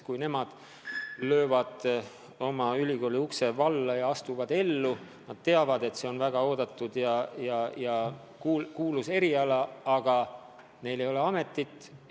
Kui need noored löövad ülikooliukse selja taga kinni ja astuvad ellu, siis nad teavad, et see on küll väga vajalik ja auväärne eriala, aga neil ei ole ametikohta.